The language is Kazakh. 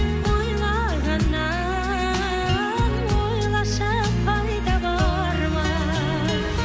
ойлағаннан ойлашы пайда бар ма